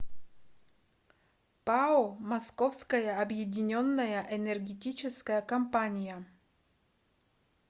пао московская объединенная энергетическая компания